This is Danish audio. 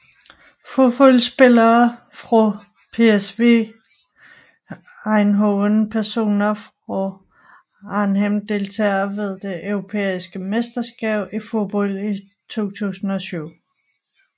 Fodboldspillere fra PSV Eindhoven Personer fra Arnhem Deltagere ved det europæiske mesterskab i fodbold 2004